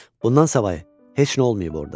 Bundan savayı, heç nə olmayıb orada.